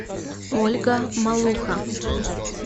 ольга малуха